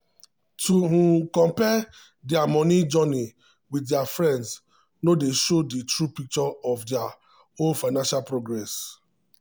to um compare dia money journey wit dia friends no dey show di true picture of dia own financial progress.